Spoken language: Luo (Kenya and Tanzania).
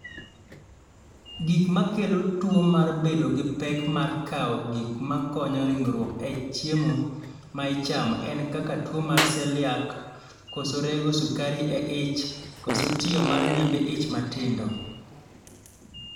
Gik ma kelo tuo mar bedo gi pek mar kawo gik ma konyo ringruok e chiemo ma ichamo en kaka tuo mar seliak, koso rego sukari e ich, koso tiyo mar nyimbi ich matindo